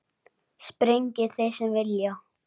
Sprengi þeir sem vilja.